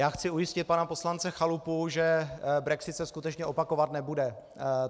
Já chci ujistit pana poslance Chalupu, že brexit se skutečně opakovat nebude.